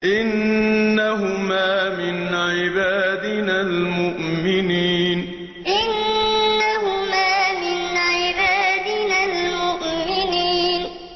إِنَّهُمَا مِنْ عِبَادِنَا الْمُؤْمِنِينَ إِنَّهُمَا مِنْ عِبَادِنَا الْمُؤْمِنِينَ